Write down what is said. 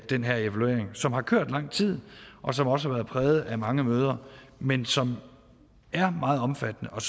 den her evaluering som har kørt i lang tid og som også har været præget af mange møder men som er meget omfattende og